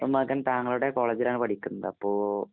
മകന്‍ താങ്കളുടെ കോളേജിലാണ് പഠിക്കുന്നത്. അപ്പോ